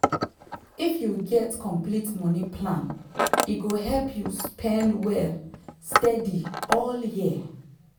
if you get complete money plan e go help you spend well steady all year.